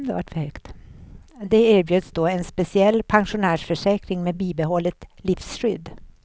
De erbjöds då en speciell pensionärsförsäkring med bibehållet livskydd.